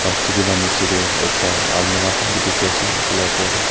tv la niche te ekta almirah khan bi dikhi ase etu la opor te.